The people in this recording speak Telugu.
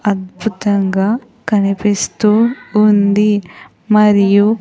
అద్భుతంగా కనిపిస్తూ ఉంది మరియు.